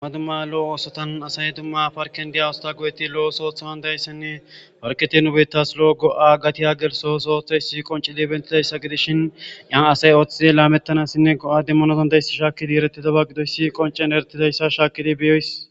Ama dumma lo7o oosotan asay dumma parken diya wusta goyeti lo7o sootha wandayssenne parketi nubetas lo7o go7a gati a gelso soothey si qonci di bentidayssa gidishin yan asay ooththide laamettanassinne go7a demmonosandayssa shaakkidi eretida ba gidoyssi qoncen eretidayssa shaakidi beyoys